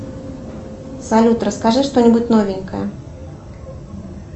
салют расскажи что нибудь новенькое